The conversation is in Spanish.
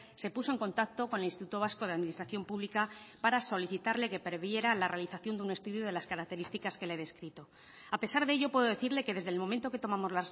se puso en contacto con el instituto vasco de administración pública para solicitarle que previera la realización de un estudio de las características que le he descrito a pesar de ello puedo decirle que desde el momento que tomamos